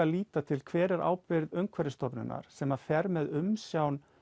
líta til hver er ábyrgð Umhverfisstofnunar sem að fer með umsjón